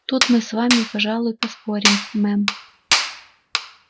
тут мы с вами пожалуй поспорим мэм